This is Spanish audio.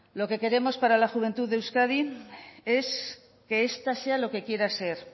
lo que queremos para la juventud de euskadi es que esta sea lo que quiera ser